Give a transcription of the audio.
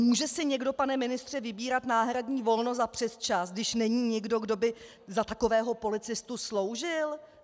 Může si někdo, pane ministře, vybírat náhradní volno za přesčas, když není nikdo, kdo by za takového policistu sloužil?